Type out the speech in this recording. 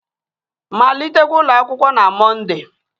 Malitekwa ụlọ akwụkwọ na Mọnde!